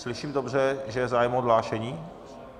Slyším dobře, že je zájem o odhlášení?